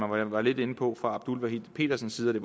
man var lidt inde på fra abdul wahid pedersens side det